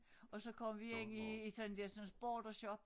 Og så går vi ind i i sådan dersens bordershop